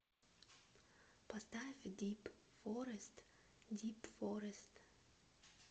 поставь дип форест дип форест